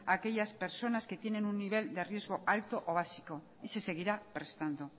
a aquellas personas que tienen un nivel de riesgo alto o básico y se seguirá prestando